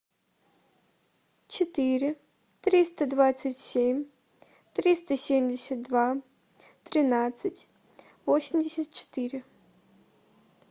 четыре триста двадцать семь триста семьдесят два тринадцать восемьдесят четыре